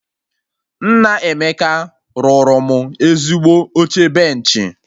Nna Emeka rụrụ mụ ezigbo oche benchị